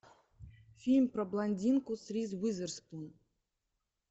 фильм про блондинку с риз уизерспун